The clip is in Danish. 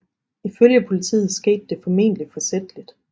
Ifølge politiet skete det formentlig forsætligt